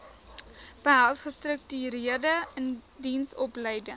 behels gestruktureerde indiensopleiding